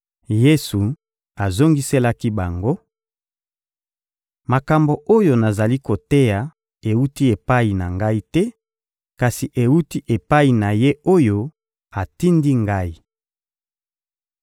Yesu azongiselaki bango: — Makambo oyo nazali koteya ewuti epai na Ngai te, kasi ewuti epai na Ye oyo atindi Ngai.